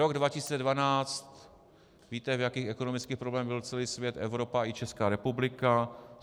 Rok 2012 - víte, v jakých ekonomických problémech byl celý svět, Evropa i Česká republika.